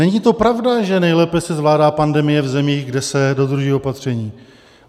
Není to pravda, že nejlépe se zvládá pandemie v zemích, kde se dodržují opatření.